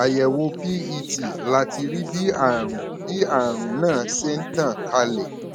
àyẹwò pet láti rí bí àrùn bí àrùn náà ṣe ń tàn kálẹ